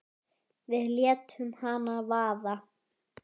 Við létum hana vaða.